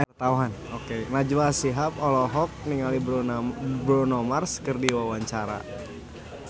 Najwa Shihab olohok ningali Bruno Mars keur diwawancara